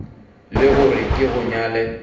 le gore ke go nyale